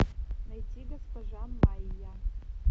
найти госпожа майя